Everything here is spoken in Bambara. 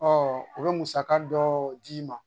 Ɔɔ u be musaka dɔ d'i ma.